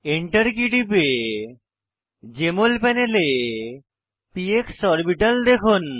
Enter key টিপে JML প্যানেলে PX orbital দেখুন